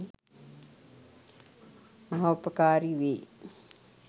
මහෝපකාරී වේ.